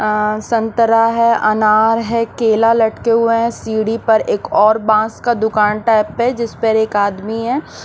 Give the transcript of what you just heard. संतरा है अनार है केला लटके हुए हैं सीढ़ी पर एक और बास का दुकान टाइप है जिस पर एक आदमी है।